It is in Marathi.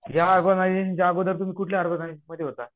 या ऑर्गनायझेशनच्या आधी तुम्ही कुठल्या ऑर्गनायझेशन मध्ये होता?